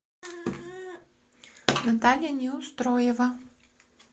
наталья неустроева